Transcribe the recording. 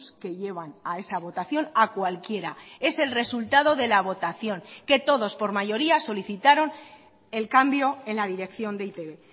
que llevan a esa votación a cualquiera es el resultado de la votación que todos por mayoría solicitaron el cambio en la dirección de e i te be